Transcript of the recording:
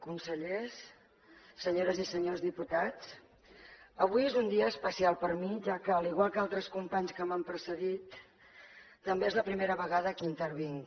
consellers senyores i senyors diputats avui és un dia especial per mi ja que igual que altres companys que m’han precedit també és la primera vegada que intervinc